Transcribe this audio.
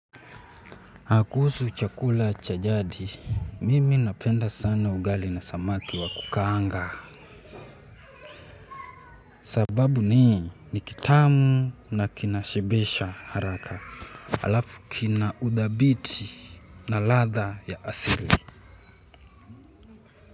Ah kuhusu chakula cha jadi, mimi napenda sana ugali na samaki wa kukaanga. Sababu ni, ni kitamu na kinashibisha haraka. Alafu kina udhabiti na ladha ya asili.